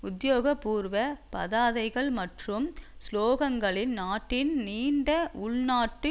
உத்தியோகபூர்வ பதாகைகள் மற்றும் சுலோகங்களில் நாட்டின் நீண்ட உள் நாட்டு